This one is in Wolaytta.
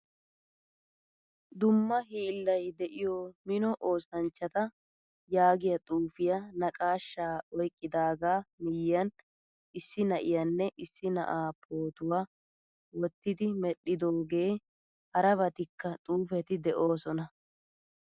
Dumma hiilay de'iyo mino oosanchchata yaagiyaa xuufiyaa naqqaashsha oyqqidaga miyiyan issi na'iyanne issi na'aa pootuwaa wottidi medhdhidoge harabattika xuufetii deosona.